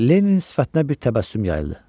Lenninin sifətinə bir təbəssüm yayıldı.